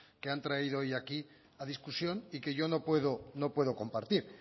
que han traído hoy aquí a discusión y que yo no puedo compartir